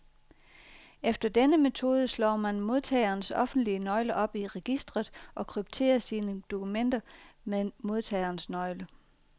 Efter denne metode slår man modtagerens offentlige nøgle op i registret, og krypterer sine dokumenter med modtagerens nøgle.